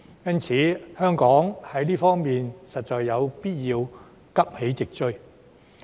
因此，香港在這方面實有必要急起直追。